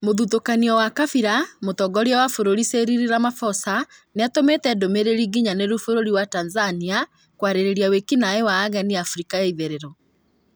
Mũthutũkanio wa kabira: mũtongoria wa bũrũri Cyril Ramaphosa nĩatũmĩte ndũmĩrĩri nginyanĩru bũrũri wa Tanzania kwarĩrĩria wĩki naĩ wa ageni Afrika ya itherero